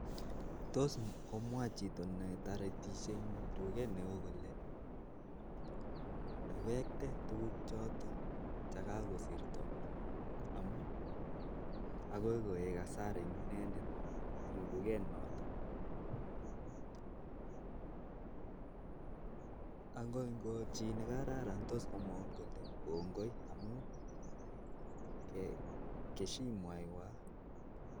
Akoi komwa chito nebo tuket neo kole iwekte tukchotok kasirto akole eku buch eng tuket